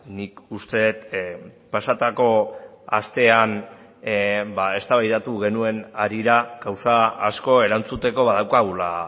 nik uste dut pasatako astean eztabaidatu genuen harira gauza asko erantzuteko badaukagula